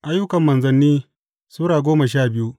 Ayyukan Manzanni Sura goma sha biyu